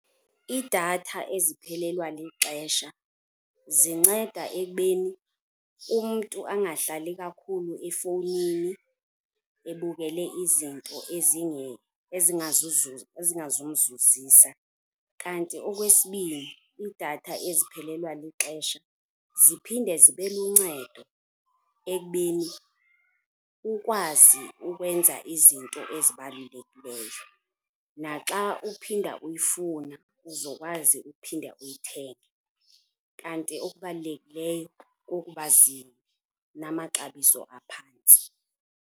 Iidatha eziphelelwa lixesha zinceda ekubeni umntu angahlali kakhulu efowunini ebukule izinto ezingazumzuzisa. Kanti okwesibini, iidatha eziphelelwa lixesha ziphinde zibe luncedo ekubeni ukwazi ukwenza izinto ezibalulekileyo naxa uphinda uyifuna uzokwazi uphinda uyithenge. Kanti okubalulekileyo kukuba zinamaxabiso aphantsi.